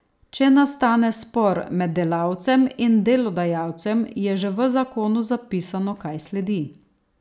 Če nastane spor med delavcem in delodajalcem, je že v zakonu zapisano, kaj sledi.